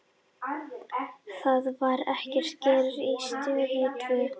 Það var ekki gert á Stöð tvö.